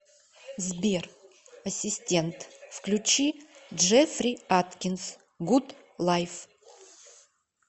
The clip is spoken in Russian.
сбер ассистент включи джеффри аткинс гуд лайф